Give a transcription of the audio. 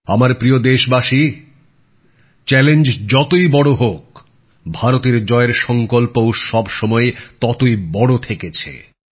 আমার প্রিয় দেশবাসী চ্যালেঞ্জ যতই বড় হোক ভারতের জয়ের সঙ্কল্পও সবসময় ততই বড় থেকেছে